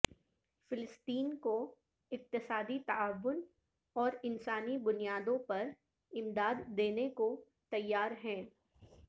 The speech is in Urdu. فلسطین کو اقتصادی تعاون اور انسانی بنیادوں پر امداد دینے کو تیار ہیں